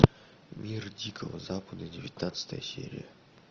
мир дикого запада девятнадцатая серия